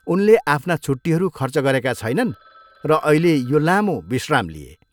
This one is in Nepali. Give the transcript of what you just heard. उनले आफ्ना छुट्टीहरू खर्च गरेका छैनन् र अहिले यो लाम्रो विश्राम लिए।